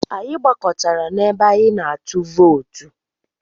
Anyị gbakọtara n'ebe anyị na-atụ vootu.